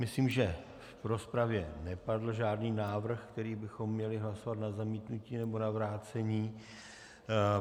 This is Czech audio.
Myslím, že v rozpravě nepadl žádný návrh, který bychom měli hlasovat na zamítnutí nebo na vrácení.